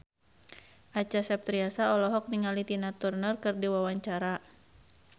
Acha Septriasa olohok ningali Tina Turner keur diwawancara